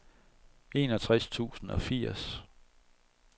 enogtres tusind og firs